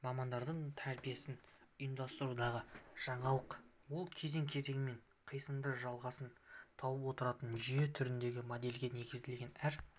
мамандар тәрбиесін ұйымдастырудағы жаңалық ол кезең-кезеңімен қисынды жалғасын тауып отыратын жүйе түріндегі модельге негізделген әр